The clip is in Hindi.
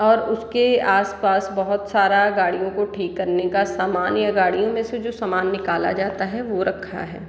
और उसके आस-पास बहुत सारा गाड़ियों को ठीक करने का समान या गाड़ियों में से जो सामान निकाला जाता है वो रखा है |